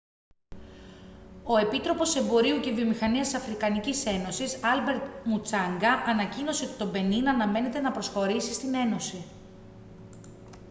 ο επίτροπος εμπορίου και βιομηχανίας της αφρικανικής ένωσης άλμπερτ μουτσάνγκα ανακοίνωσε ότι το μπενίν αναμένεται να προσχωρήσει στην ένωση